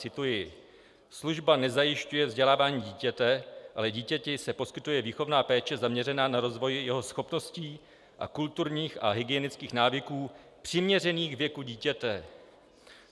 Cituji: Služba nezajišťuje vzdělávání dítěte, ale dítěti se poskytuje výchovná péče zaměřená na rozvoj jeho schopností a kulturních a hygienických návyků přiměřených věku dítěte.